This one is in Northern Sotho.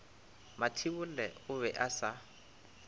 mathibolle o be a sa